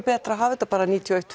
betra að hafa þetta bara níutíu og eitt